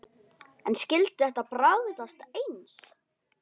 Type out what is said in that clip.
En skyldi þetta bragðast eins?